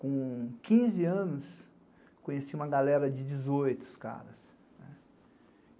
Com quinze anos, conheci uma galera de dezoito, os caras.